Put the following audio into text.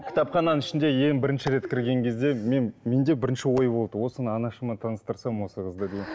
кітапхананың ішінде ең бірінші рет кірген кезде мен менде бірінші ой болды осыны анашыммен таныстырсам осы қызды деген